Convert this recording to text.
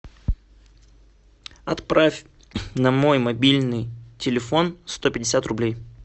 отправь на мой мобильный телефон сто пятьдесят рублей